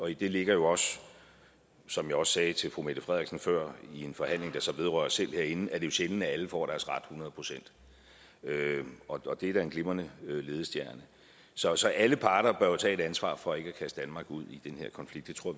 i det ligger jo også som jeg også sagde til fru mette frederiksen før at i en forhandling der så vedrører os selv herinde er det jo sjældent at alle får deres ret hundrede procent og det er da en glimrende ledestjerne så så alle parter bør jo tage et ansvar for ikke at kaste danmark ud i den her konflikt det tror